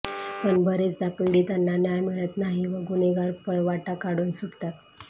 पण बरेचदा पीडितांना न्याय मिळत नाही व गुन्हेगार पळवाटा काढून सुटतात